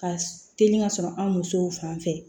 Ka teli ka sɔrɔ an musow fan fɛ